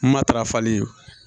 Matarafali